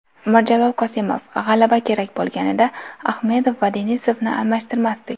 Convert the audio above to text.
Mirjalol Qosimov: G‘alaba kerak bo‘lganida, Ahmedov va Denisovni almashtirmasdik.